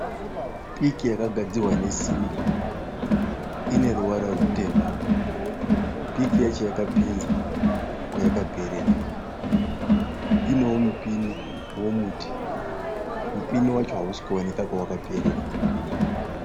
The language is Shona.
Piki yakagadzirwa nesimbi. Ine ruvara rutema. Piki yacho yakapinza kwayakaperera. Inewo mupinyi womuti. Mupinyi wacho hausi kuonekwa kwawakaperera.